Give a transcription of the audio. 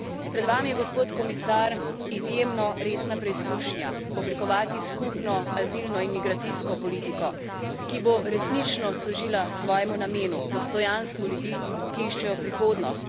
Pred vami je, gospod komisar, izjemno resna preizkušnja, oblikovati skupno azilno in migracijsko politiko, ki bo resnično služila svojemu namenu dostojanstvu ljudi, ki iščejo prihodnost.